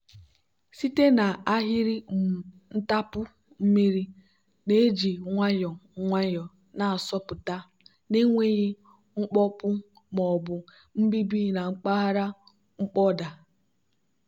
site n'ahịrị um ntapu mmiri na-eji nwayọọ nwayọọ na-asọpụta na-enweghị mkpọpu ma ọ bụ nbibi na mpaghara mkpọda.